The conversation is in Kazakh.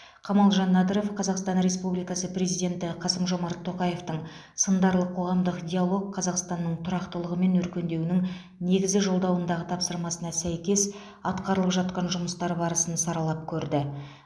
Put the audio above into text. камалжан надыров қазақстан республикасы президенті қасым жомарт тоқаевтың сындарлы қоғамдық диалог қазақстанның тұрақтылығы мен өркендеуінің негізі жолдауындағы тапсырмасына сәйкес атқарылып жатқан жұмыстар барысын саралап көрді